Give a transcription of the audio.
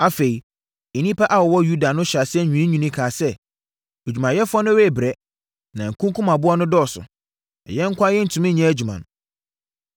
Afei, nnipa a wɔwɔ Yuda no hyɛɛ aseɛ nwiinwiiɛ kaa sɛ, “Adwumayɛfoɔ no rebrɛ, na nkunkumaboɔ no dɔɔso, na yɛn nko ara rentumi nyɛ adwuma no.”